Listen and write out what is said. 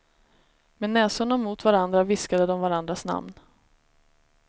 Med näsorna mot varandra viskade de varandras namn.